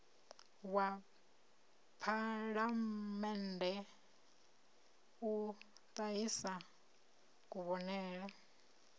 wa phalamennde u ṱahisa kuvhonele